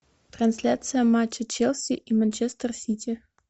трансляция матча челси и манчестер сити